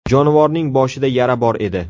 Jonivorning boshida yara bor edi.